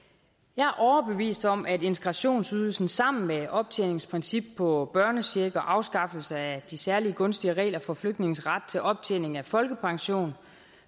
jeg er overbevist om at integrationsydelsen sammen med optjeningsprincip på børnecheck og afskaffelse af de særlig gunstige regler for flygtninges ret til optjening af folkepension